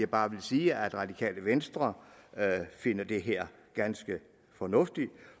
bare vil sige at radikale venstre finder det her ganske fornuftigt